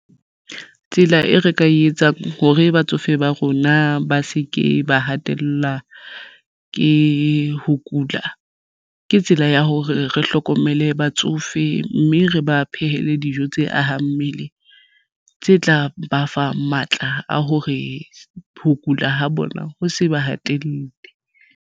Tsela e re ka etsang hore batsofe ba rona ba se ke ba hatellwa ke ho kula ke tsela ya hore re hlokomele batsofe mme re ba phehele dijo tse ahang mmele tse tla ba fa matla a hore ho kula ha bona ho se ba hatelle.